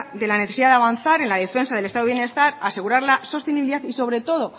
de la necesidad de avanzar en la defensa del estado de bienestar asegurar la sostenibilidad y sobre todo